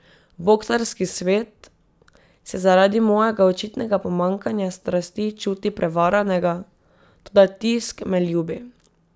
Boksarski svet se zaradi mojega očitnega pomanjkanja strasti čuti prevaranega, toda tisk me ljubi.